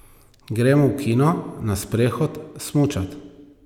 Gremo v kino, na sprehod, smučat ...